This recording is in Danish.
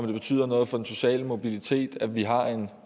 det betyder noget for den sociale mobilitet at vi har en